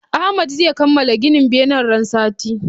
Ahmad zai kamala gina benen ran sati